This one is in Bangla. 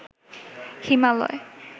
হিমালয়